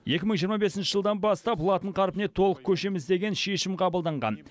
екі мың жиырма бесінші жылдан бастап латын қарпіне толық көшеміз деген шешім қабылданған